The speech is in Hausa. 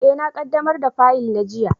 E, na ƙaɗamar da faƴil na jiya